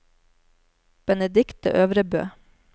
Benedikte Øvrebø